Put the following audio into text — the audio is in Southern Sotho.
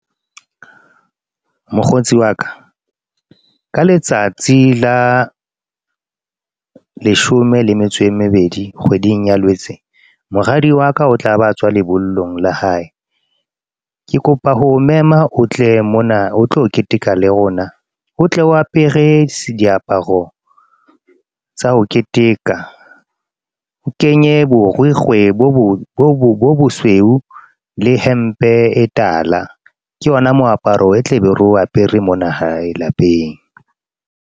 Mokgotsi wa ka ka letsatsi la leshome le metso e mebedi, kgweding ya Lwetse. Moradi wa ka, o tla ba tswa lebollong la hae. Ke kopa ho mema o tle mona o tlo keteka le rona, o tle o a perese diaparo tsa ho keteka. O kenye borikgwe bo bosweu le hempe e tala, ke yona moaparo e tle be ro apere mona hae lapeng.